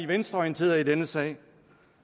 venstreorienterede i denne sag